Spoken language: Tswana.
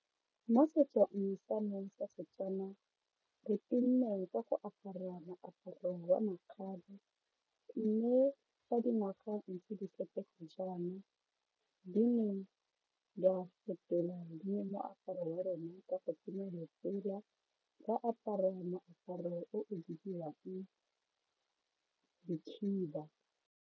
Mo setsong sa me sa Setswana re tumme ka go apara moaparo wa makgabe mme fa dingwaga ntse di fetoga jaana di neng di a fetola le moaparo wa rona ka go tsenya letsela ra apara moaparo o o bidiwang dikhiba.